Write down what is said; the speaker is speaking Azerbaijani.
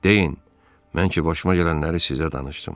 Deyin, mən ki başıma gələnləri sizə danışdım.